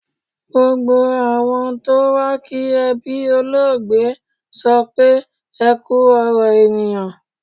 Gbogbo àwọn tó wá kí ẹbí olóògbé sọ pé "Ẹ kú ọ̀rọ̀ èèyàn".